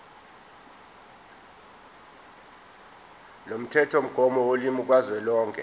lomthethomgomo wolimi kazwelonke